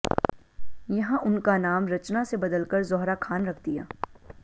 यहां उनका नाम रचना से बदलकर जौहरा खान रख दिया